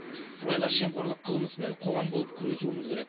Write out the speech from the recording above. сыбайлас жемқорлық қылмысымен қоғам болып күресуіміз керек